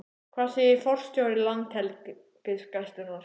Hvað segir forstjóri Landhelgisgæslunnar?